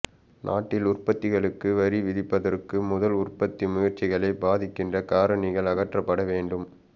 நாட்டில் உற்பத்திகளுக்கு வரி விதிப்பதற்கு முதல் உற்பத்தி முயற்சிகளைப் பாதிக்கின்ற காரணிகள் அகற்றப்பட வேண்டும்